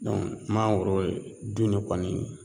mangoro du ni kɔni